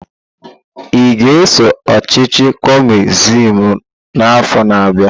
Ị ga-eso ọchịchị Kọmunist n'afọ na-abịa?